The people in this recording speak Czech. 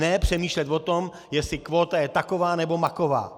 Ne přemýšlet o tom, jestli kvóta je taková nebo maková.